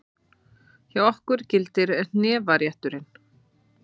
Hjá okkur gildir hnefarétturinn!